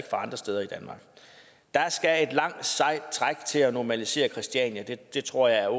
andre steder i danmark der skal et langt sejt træk til at normalisere christiania det tror jeg er